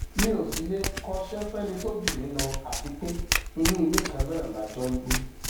mi ò sì lè kọṣẹ fẹni tó jù mí lọ àti pé inú ilé kan náà la jọ ń gbé